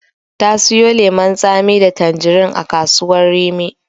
Ta siyo lemon tsami da tanjirin a kasuwar Rimi.